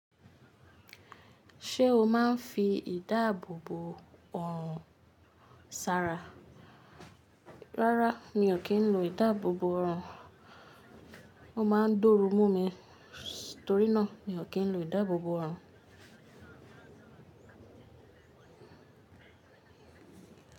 Ṣé o máa ń fi ìdáàbòbò òrùn ṣara? Rárá, mi ò kí ń lo ìdáàbòbò ọrùn. Ó máa ń dọ́rù mú mi, torí náà mi ò kí ń lo ìdáàbòbò oòrùn.